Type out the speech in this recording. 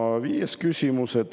Ja viies küsimus.